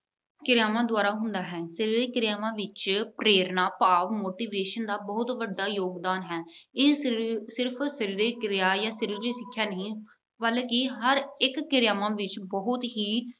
ਕਿਰਿਆਵਾਂ ਦੁਆਰਾ ਹੁੰਦਾ ਹੈ। ਸਰੀਰਕ ਕਿਰਿਆਵਾਂ ਵਿੱਚ ਪ੍ਰੇਰਨਾ ਭਾਵ motivation ਦਾ ਬਹੁਤ ਵੱਡਾ ਯੋਗਦਾਨ ਹੈ। ਇਹ ਸਿਰਫ ਸਰੀਰਕ ਕਿਰਿਆ ਜਾਂ ਸਰੀਰਕ ਸਿੱਖਿਆ ਨਹੀਂ ਹੈ ਬਲਕਿ ਹਰ ਇਕ ਕਿਰਿਆਵਾਂ ਵਿੱਚ ਬਹੁਤ ਹੀ